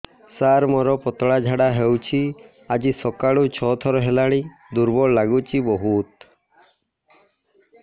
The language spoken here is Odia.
ସାର ମୋର ପତଳା ଝାଡା ହେଉଛି ଆଜି ସକାଳୁ ଛଅ ଥର ହେଲାଣି ଦୁର୍ବଳ ଲାଗୁଚି ବହୁତ